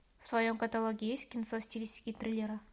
в твоем каталоге есть кинцо в стилистике триллера